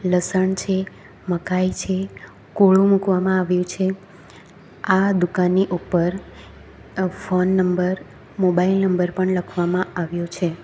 લસણ છે મકાઈ છે કોળુ મૂકવામાં આવ્યું છે આ દુકાનની ઉપર અ ફોન નંબર મોબાઈલ નંબર પણ લખવામાં આવ્યો છે.